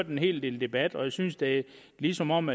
en hel del debat og jeg synes det er som om